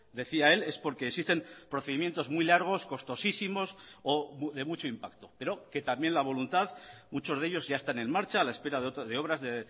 decía él es porque existen procedimientos muy largos costosísimos o de mucho impacto pero que también la voluntad muchos de ellos ya están en marcha a la espera de obras de